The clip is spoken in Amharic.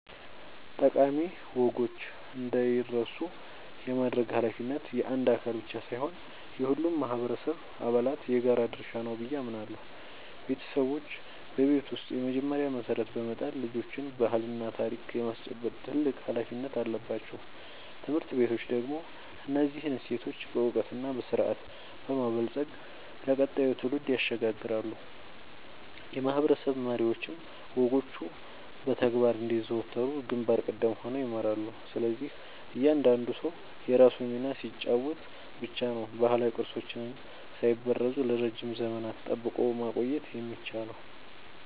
ጠቃሚ ወጎች እንዳይረሱ የማድረግ ኃላፊነት የአንድ አካል ብቻ ሳይሆን የሁሉም ማህበረሰብ አባላት የጋራ ድርሻ ነው ብዬ አምናለሁ። ቤተሰቦች በቤት ውስጥ የመጀመሪያውን መሰረት በመጣል ልጆችን ባህልና ታሪክ የማስጨበጥ ትልቅ ኃላፊነት አለባቸው። ትምህርት ቤቶች ደግሞ እነዚህን እሴቶች በዕውቀትና በስርዓት በማበልጸግ ለቀጣዩ ትውልድ ያሸጋግራሉ፤ የማህበረሰብ መሪዎችም ወጎቹ በተግባር እንዲዘወተሩ ግንባር ቀደም ሆነው ይመራሉ። ስለዚህ እያንዳንዱ ሰው የራሱን ሚና ሲጫወት ብቻ ነው ባህላዊ ቅርሶቻችንን ሳይበረዙ ለረጅም ዘመናት ጠብቆ ማቆየት የሚቻለው።